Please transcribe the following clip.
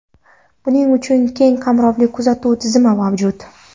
Buning uchun keng qamrovli kuzatuv tizimi mavjud.